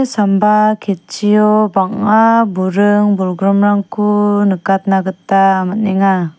samba ketchio bang·a buring-bolgrimrangko nikatna gita man·enga.